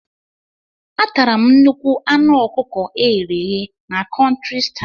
Atara m nnukwu anụ ọkụkọ eghere eghe na Country style.